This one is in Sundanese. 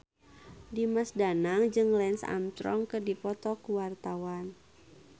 Dimas Danang jeung Lance Armstrong keur dipoto ku wartawan